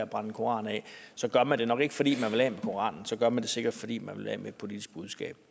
brænder en koran af så gør man det nok ikke fordi man vil af med koranen så gør man det sikkert fordi man vil af med et politisk budskab